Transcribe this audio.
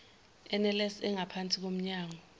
nls engaphansi komnyango